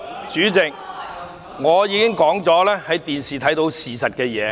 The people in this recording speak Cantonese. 主席，我剛才已經說過，事實在電視上有目共睹。